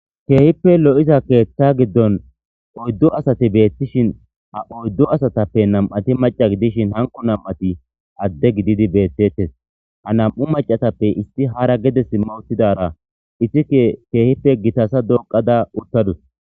Keehippe lo7iza keethta giddon oyddu asati beettishin ha oyddu asatappe nam7ati maca gidishin hanqo nam7ati adde gididi beettettes ha nam7u macatappe isti hara gede s mawuttidara isike keehippe gitasa doqada uttadus.